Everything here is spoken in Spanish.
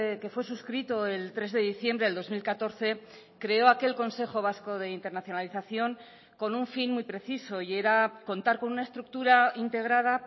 que fue suscrito el tres de diciembre del dos mil catorce creó aquel consejo vasco de internacionalización con un fin muy preciso y era contar con una estructura integrada